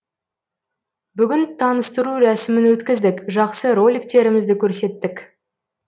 бүгін таныстыру рәсімін өткіздік жақсы роликтерімізді көрсеттік